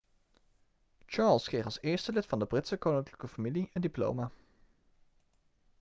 charles kreeg als eerste lid van de britse koninklijke familie een diploma